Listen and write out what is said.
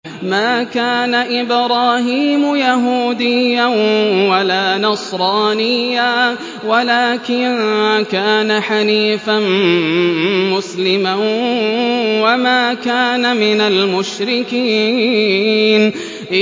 مَا كَانَ إِبْرَاهِيمُ يَهُودِيًّا وَلَا نَصْرَانِيًّا وَلَٰكِن كَانَ حَنِيفًا مُّسْلِمًا وَمَا كَانَ مِنَ الْمُشْرِكِينَ